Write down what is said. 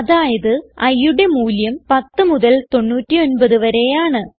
അതായത് iയുടെ മൂല്യം 10 മുതൽ 99 വരെയാണ്